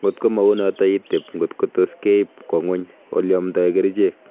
ngot go ma unoto iteb ngot go tos keib kwa ngony ole amdai kerchek